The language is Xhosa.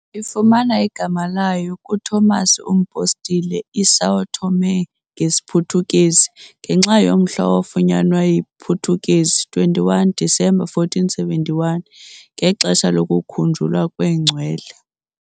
Ifumana igama layo kuTomas uMpostile, "iSão Tomé" ngesiPhuthukezi, ngenxa yomhla owafunyanwa yiPutukezi, 21 December 1471, ngexesha lokukhunjulwa kwengcwele.